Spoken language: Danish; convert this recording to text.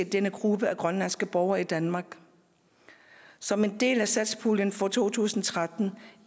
denne gruppe af grønlandske borgere i danmark som en del af satspuljen for to tusind og tretten